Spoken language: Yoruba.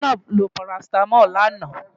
Zainab lo parasítámọ̀ lánàá.